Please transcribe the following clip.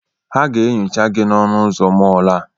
Ha ga-enyocha gị n'ọnụ ụzọ mọọlụ a.